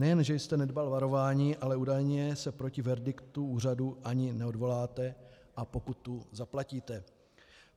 Nejen že jste nedbal varování, ale údajně se proti verdiktu úřadu ani neodvoláte a pokutu zaplatíte.